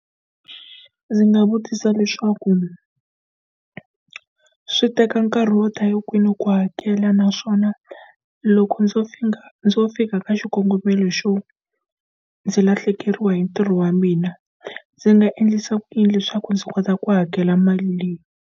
Ndzi nga vutisa leswaku swi teka nkarhi wo ta ni hi kwini ku hakela naswona loko ndzo ndzo fika ka xikongomelo xo ndzi lahlekeriwa hi ntirho wa mina, ndzi nga endlisa ku yini leswaku ndzi kota ku hakela mali leyi?